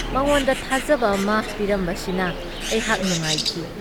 ꯃꯉꯣꯟꯗ ꯊꯥꯖꯕ ꯑꯃ ꯄꯤꯔꯝꯕꯁꯤꯗ ꯑꯩꯍꯥꯛ ꯅꯨꯉꯥꯏꯈꯤ ꯫